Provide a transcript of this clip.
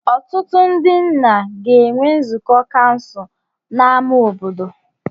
Ọtụtụ ndị nna ga-enwe nzukọ kansụl n'ámá obodo.